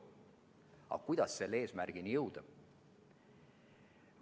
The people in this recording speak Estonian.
Aga kuidas selle eesmärgini jõuda?